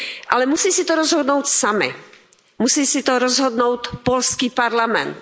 Ale musí si to rozhodnout sami, musí si to rozhodnout polský parlament.